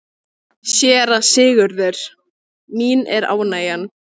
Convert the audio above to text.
SÉRA SIGURÐUR: Mín er ánægjan.